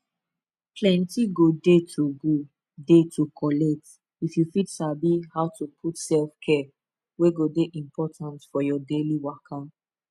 plenty go dey to go dey to collect if you fit sabi how to put selfcare wey go dey important for your daily waka